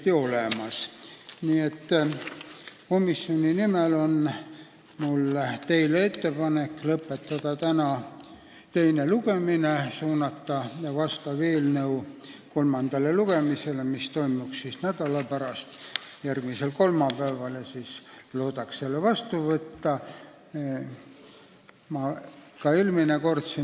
Mul on teile põhiseaduskomisjoni nimel ettepanek lõpetada täna eelnõu teine lugemine ja suunata see kolmandale lugemisele, mis toimuks nädala pärast, järgmisel kolmapäeval, kui loodaks selle eelnõu ka seadusena vastu võtta.